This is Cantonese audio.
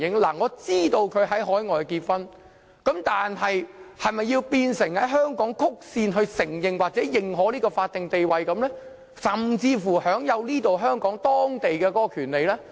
我知道他們已在海外結婚，但是否便要在香港曲線承認或認可這種法定地位，甚至讓他們享有香港本地的權利呢？